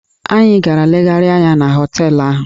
Anyị gara legharịa anya na họteelụ ahụ.